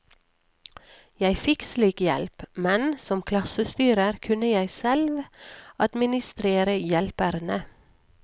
Jeg fikk slik hjelp, men som klassestyrer kunne jeg selv administrere hjelperne.